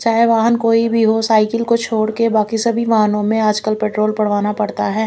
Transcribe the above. चाहे वहां कोई भी हो साइकिल को छोड़ के आज कल सभी वाहनों में पेट्रोल डलवाना पड़ता है।